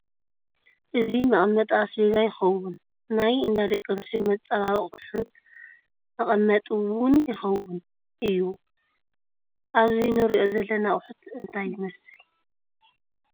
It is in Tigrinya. እዚ መቐመጢ ኣስቤዛ ይኸውን ናይ እንዳ ደቒ ኣነስትዮ መፀባበቒጢ ኣቑሑት መቐመጢ'ውን ይኸውን እዩ ፡ ኣብዚ ንሪኦ ዘለና ኣቑሑት ግን እንታይ ይመስል ?